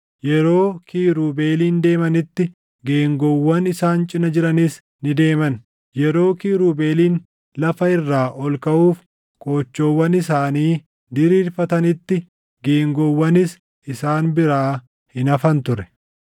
Yeroo kiirubeeliin deemanitti geengoowwan isaan cina jiranis ni deeman; yeroo kiirubeeliin lafa irraa ol kaʼuuf qoochoowwan isaanii diriirfatanitti geengoowwanis isaan biraa hin hafan ture.